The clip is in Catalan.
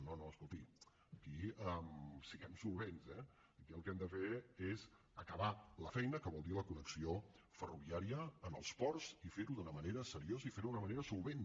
no no escolti aquí siguem solvents eh aquí el que hem de fer és acabar la feina que vol dir la connexió ferroviària en els ports i fer ho d’una manera seriosa i fer ho d’una manera solvent